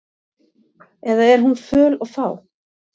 Eða er hún föl og fá?